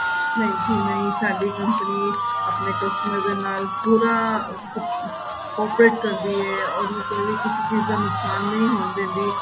ਨਹੀਂ ਸਾਡੀ company ਆਪਣੇ customer ਦੇ ਨਾਲ ਪੂਰਾ corporate ਕਰਦੀ ਹੈ ਉਹਨੂੰ ਕੋਈ ਵੀ ਕਿਸੀ ਚੀਜ ਦਾ ਨੁਕਸਾਨ ਨਹੀਂ ਹੋਣ ਦਿੰਦੀ